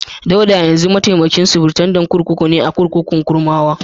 Dauda yanzu mataimakin sufritandan kurkuku ne a kurkukun Kurmawa.